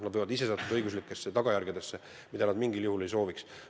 Neid võivad tabada õiguslikud tagajärjed, mida nad mingil juhul ei sooviks.